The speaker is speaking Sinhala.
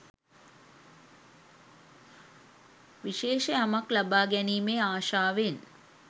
විශේෂ යමක් ලබා ගැනීමේ ආශාවෙන්